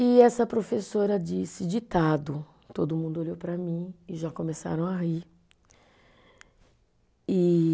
E essa professora disse, ditado, todo mundo olhou para mim e já começaram a rir. E